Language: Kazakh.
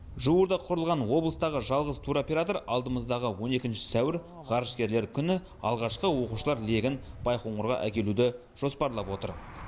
жуырда құрылған облыстағы жалғыз туроператор алдымыздағы он екінші сәуір ғарышкерлер күні алғашқы оқушылар легін байқоңырға әкелуді жоспарлап отыр